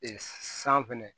san fɛnɛ